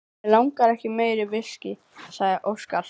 Mig langar ekki í meira viskí, sagði Óskar.